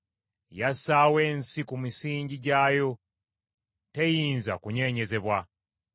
Yassaawo ensi ku misingi gyayo; teyinza kunyeenyezebwa.